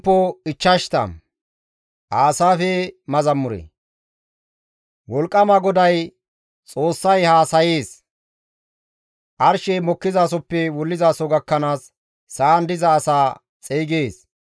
Wolqqama GODAY, Xoossay haasayees; Arshey mokkizasoppe wullizaso gakkanaas sa7an diza asaa xeygees.